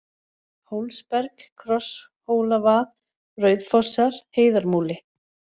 Hólsberg, Krosshólavað, Rauðfossar, Heiðarmúli